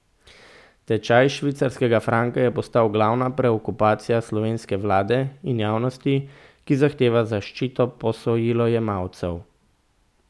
Tečaj švicarskega franka je postal glavna preokupacija slovenske vlade in javnosti, ki zahteva zaščito posojilojemalcev.